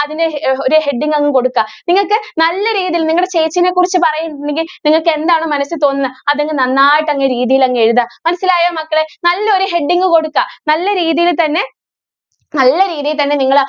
അതിനു ഹേ ഒരു heading അങ്ങ് കൊടുക്ക. നിങ്ങൾക്ക് നല്ല രീതിയിൽ നിങ്ങടെ ചേച്ചീനെ കുറിച്ച് പറ~യുന്നുണ്ടെങ്കിൽ നിങ്ങൾക്ക് എന്താണോ മനസ്സിൽ തോന്നുന്നത് അത് അങ്ങ് നന്നായിട്ട് അങ്ങ് രീതിയിൽ അങ്ങ് എഴുതുക. മനസ്സിലായോ മക്കളെ? നല്ലൊരു heading കൊടുക്ക. നല്ല രീതിയിൽ തന്നെ, നല്ല രീതിയിൽ തന്നെ നിങ്ങള്